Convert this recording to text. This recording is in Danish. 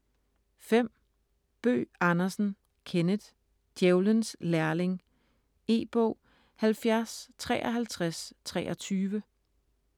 Bøgh Andersen, Kenneth: Djævelens lærling E-bog 705323